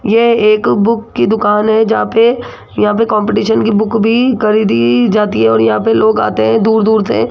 यह एक बुक की दुकान है जहां पे यहां पे कंपटीशन की बुक भी खरीदी जाती है और यहां पे लोग आते हैं दूर दूर से।